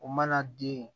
O mana den